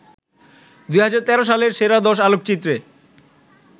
২০১৩ সালের সেরা দশ আলোকচিত্রে